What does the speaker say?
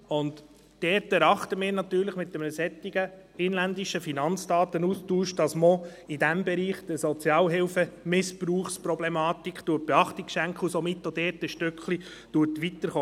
Wir denken, dass man mit einem solchen inländischen Finanzdatenaustausch auch in diesem Bereich der Problematik des Sozialhilfemissbrauchs Beachtung schenkt und auch dort einen Schritt weiterkommt.